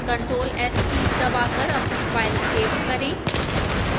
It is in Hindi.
ctrl + s कीज दबाकर अपनी file सेव करें